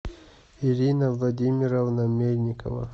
ирина владимировна мельникова